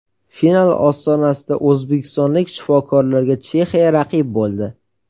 Final ostonasida o‘zbekistonlik shifokorlarga Chexiya raqib bo‘ldi.